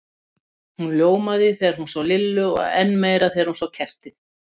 Hún ljómaði þegar hún sá Lillu og enn meira þegar hún sá kertið.